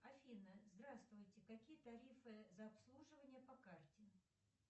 афина здравствуйте какие тарифы за обслуживание по карте